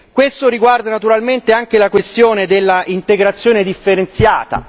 Questo riguarda naturalmente anche la questione della integrazione differenziata.